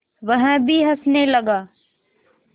वह भी हँसने लगा